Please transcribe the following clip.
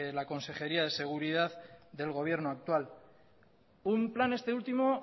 la consejería de seguridad del gobierno actual un plan este último